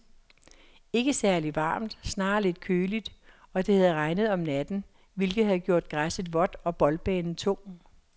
Ikke særligt varmt, snarere lidt køligt, og det havde regnet om natten, hvilket havde gjort græsset vådt og boldbanen tung.